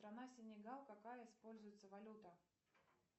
страна сенегал какая используется валюта